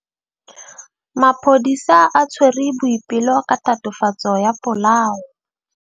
Maphodisa a tshwere Boipelo ka tatofatsô ya polaô.